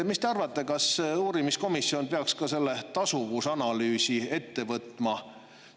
Mis te arvate, kas uurimiskomisjon peaks ka selle tasuvusanalüüsi ette võtma?